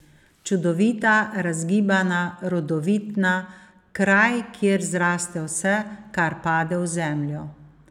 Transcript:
Čudovita, razgibana, rodovitna, kraj, kjer zraste vse, kar pade v zemljo.